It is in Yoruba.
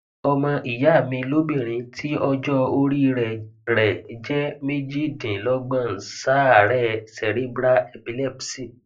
ọmọ ìyá mi lóbìnrin tí ọjọorí rẹ rẹ jẹ méjìdínlógbon ń ṣàárẹ cerebral epilepsy